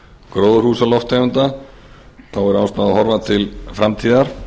gróðurhúsalofttegunda er ástæða að horfa til framtíðar